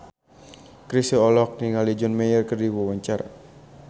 Chrisye olohok ningali John Mayer keur diwawancara